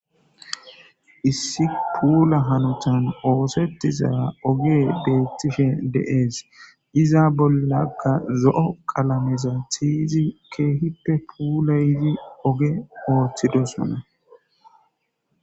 issi puula hanutan oosettiza oge beettishe de7ees iza bollakka zo7o qalameza thiyzi keehippe puulayidi oge ooththidosona